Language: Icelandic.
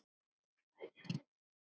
Ekki nema?